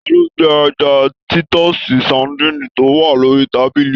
Talo jẹ ẹja titọsi sadinni to wà lórí tábìlì?